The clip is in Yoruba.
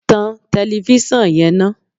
Tan tẹlefísàn yẹn ná